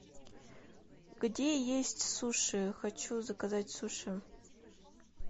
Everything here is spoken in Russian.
где есть суши хочу заказать суши